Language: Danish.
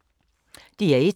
DR1